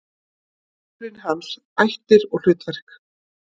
Uppruni hans, ættir og hlutverk.